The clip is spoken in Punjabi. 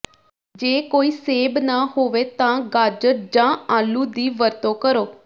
ਜੇ ਕੋਈ ਸੇਬ ਨਾ ਹੋਵੇ ਤਾਂ ਗਾਜਰ ਜਾਂ ਆਲੂ ਦੀ ਵਰਤੋਂ ਕਰੋ